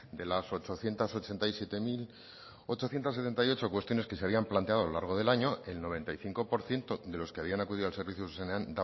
de la ochocientos ochenta y siete mil ochocientos setenta y ocho cuestiones que se habían planteado a lo largo del año el noventa y cinco por ciento de los que habían acudido al servicio zuzenean